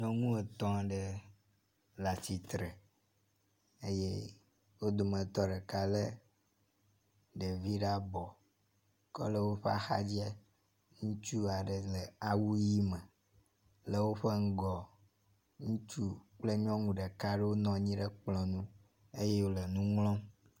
Nyɔnu etɔ̃ aɖe le atsitre eye wo dometɔ ɖeka le ɖevi ɖe abɔ ke le woƒe axdzi ŋutsu aɖe le awu ʋi me. le woƒe ŋgɔa ŋutsu kple nyɔnu ɖeka aɖewo nɔ anyi ɖe kplɔ nu eye wo le nu ŋlɔm.